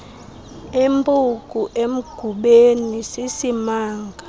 impuku emgubeni sisimanga